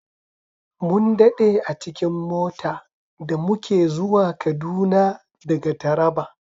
Mun daɗe a cikin mota da muke zuwa Kaduna daga Taraba.